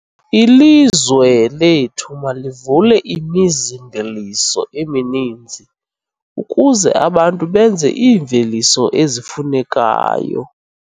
Ilizwe lethu malivule imizi-mveliso emininzi ukuze abantu benze iimveliso ezifunekayo.